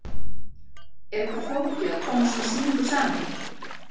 Er þetta ekkert flókið að koma svona sýningu saman?